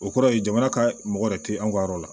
O kɔrɔ ye jamana ka mɔgɔ yɛrɛ tɛ an ka yɔrɔ la